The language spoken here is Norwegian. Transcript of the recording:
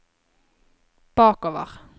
bakover